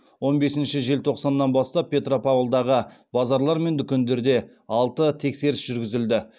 он бесінші желтоқсаннан бастап петропавлдағы базарлар мен дүкендерде алты тексеріс жүргізілді